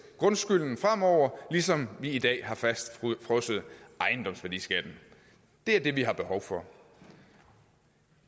grundskylden fremover ligesom vi i dag har fastfrosset ejendomsværdiskatten det er det vi har behov for